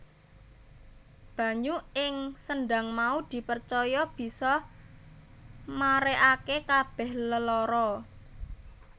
Banyu ing sendhang mau dipercaya bisa marèake kabèh lelara